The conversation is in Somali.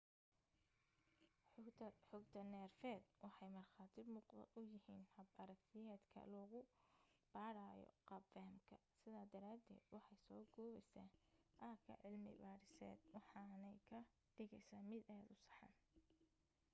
xogta neerfeed waxay markhaati muuqda u yihiin hab aragtiyeedka lagu baadhayo qaab fahamka sidaa daraadeed waxay soo koobaysaa aagga cilmi baadhiseed waxaanay ka dhigaysaa mid aad u saxan